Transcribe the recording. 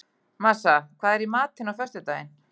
Marsa, hvað er í matinn á föstudaginn?